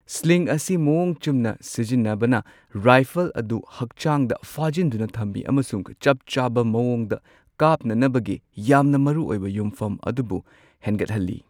Sling ꯑꯁꯤ ꯃꯋꯣꯡ ꯆꯨꯝꯅ ꯁꯤꯖꯤꯟꯅꯕꯅ ꯔꯥꯏꯐꯜ ꯑꯗꯨ ꯍꯛꯆꯥꯡꯗ ꯐꯥꯖꯤꯟꯗꯨꯅ ꯊꯝꯃꯤ ꯑꯃꯁꯨꯡ ꯆꯞ ꯆꯥꯕ ꯃꯑꯣꯡꯗ ꯀꯥꯞꯅꯅꯕꯒꯤ ꯌꯥꯝꯅ ꯃꯔꯨ ꯑꯣꯏꯕ ꯌꯨꯝꯐꯝ ꯑꯗꯨꯕꯨ ꯍꯦꯟꯒꯠꯍꯜꯂꯤ꯫